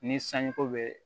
Ni sanjiko bɛ